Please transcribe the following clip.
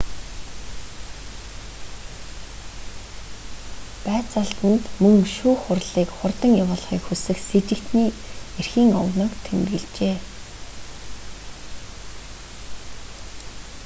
байцаалтанд мөн шүүх хурлыг хурдан явуулахыг хүсэх сэжигтэний эрхийн огноог тэмдэглэжээ